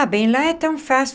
Ah, bem, lá é tão fácil.